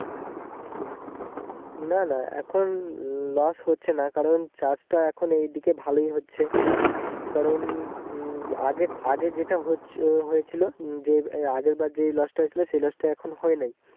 না না এখন loss হচ্ছে না কারণ চাষ তা এখন এই দিকে ভালোই হচ্ছে কারণ উম আগে আগে যেটা হচ্ছে হয়েছিল যে আগের বার যে loss তা হয়েছিল সে loss তা এখন হয় না ।